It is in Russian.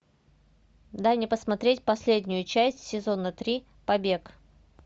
дай мне посмотреть последнюю часть сезона три побег